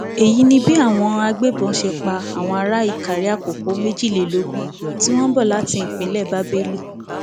èyí ni bí àwọn àgbébọ ṣe pa àwọn ará ìkàrèàkókò méjìlélógún tí wọn ń bọ láti ìpínlẹ bábélì